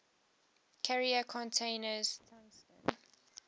carrier contains tungsten